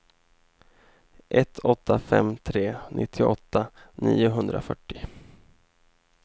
ett åtta fem tre nittioåtta niohundrafyrtio